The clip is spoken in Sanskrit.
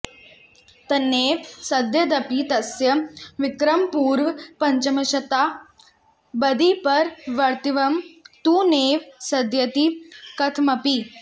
तन्नैव सिध्येदपि तस्य विक्रमपूर्वपञ्चमशताब्दीपरवर्तित्वं तु नैव सिध्यति कथमपि